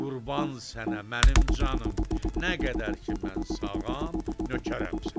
Qurban sənə mənim canım, nə qədər ki, mən sağam, nökərəm sənə.